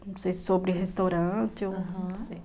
Não sei se sobre restaurante, aham, ou não sei.